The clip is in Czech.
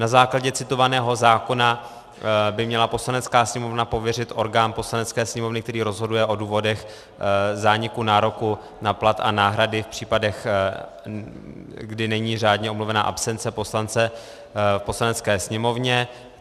Na základě citovaného zákona by měla Poslanecká sněmovna pověřit orgán Poslanecké sněmovny, který rozhoduje o důvodech zániku nároku na plat a náhrady v případech, kdy není řádně omluvena absence poslance v Poslanecké sněmovně.